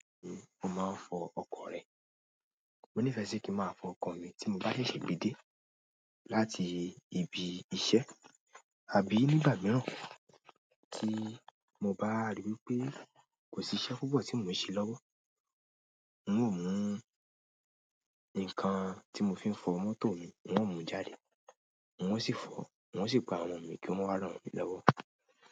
Mo máa ń fọ ọkọ̀ rẹ. Mo nífẹ̀ẹ́ kí ń máa fọ ọkọ̀ mi tí mo bá ṣègbé dé láti ibi iṣẹ́ àbí nígbà mìíràn tí mo bá ríi wí pé kò sí iṣẹ́ púpọ̀ tí mò ń ṣe lọ́wọ́. N óò mú nǹkan tí mo fi ń fọ mọ́tò mi, n óò mú u jáde, n ó sì fọ, wọ́n ó sì pa wọ́n mú kí ó máa ràn mí lọ́wọ́.